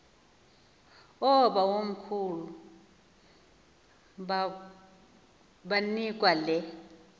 oobawomkhulu banikwa le